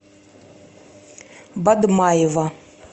бадмаева